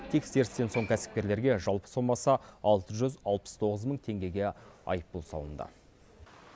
тексерістен соң кәсіпкерлерге жалпы сомасы алты жүз алпыс тоғыз мың теңгеге айыппұл салынды